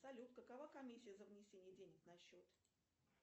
салют какова комиссия за внесение денег на счет